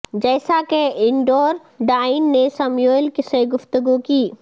جیسا کہ اینڈور ڈائن نے سموئیل سے گفتگو کی